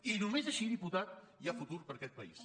i només així diputat hi ha futur per a aquest país